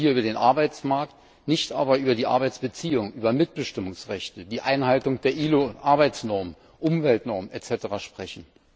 Man will hier über den Arbeitsmarkt, nicht aber über die Arbeitsbeziehungen, über Mitbestimmungsrechte, die Einhaltung der ILO Arbeitsnormen, Umweltnormen etc. sprechen.